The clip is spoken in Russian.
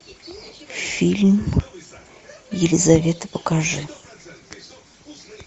фильм елизавета покажи